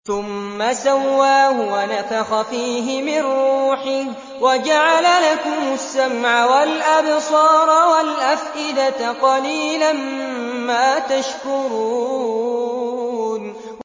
ثُمَّ سَوَّاهُ وَنَفَخَ فِيهِ مِن رُّوحِهِ ۖ وَجَعَلَ لَكُمُ السَّمْعَ وَالْأَبْصَارَ وَالْأَفْئِدَةَ ۚ قَلِيلًا مَّا تَشْكُرُونَ